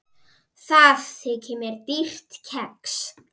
Það þykir mér dýrt kex.